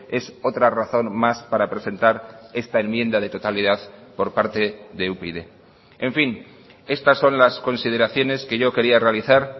es otra razón más para presentar esta enmienda de totalidad por parte de upyd en fin estas son las consideraciones que yo quería realizar